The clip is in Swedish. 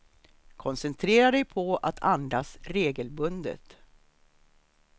Koncentrera dig på att andas regelbundet.